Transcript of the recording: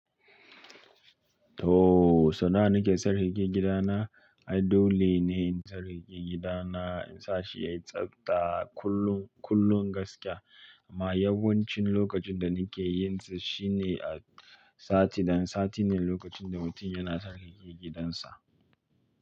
To, sana'a nake sirrige gidan na. Adole ne in sarrage gidan na, insa shi yayi tsafta kullun, kullun gaskiya. Amma yawancin lokacin da nake yin shi shine a sati ɗan sati ne lokacin da mutum yana sarrage gidansa.